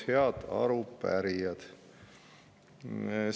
Head arupärijad!